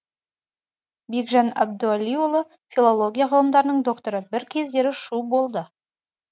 бекжан әбдуәлиұлы филология ғылымдарының докторы бір кездері шу болды